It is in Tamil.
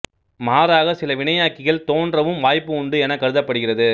மாறாக சில வினையாக்கிகள் தோன்றவும் வாய்ப்பு உண்டு எனக் கருதப்படுகிறது